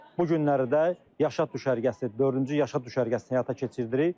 Bu günləri də Yaşad düşərgəsi, dördüncü Yaşad düşərgəsini həyata keçirdirik.